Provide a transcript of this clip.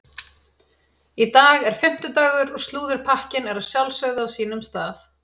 Í dag er fimmtudagur og slúðurpakkinn er að sjálfsögðu á sínum stað.